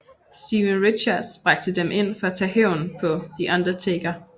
Steven Richards bragte dem ind for at tage hævn på The Undertaker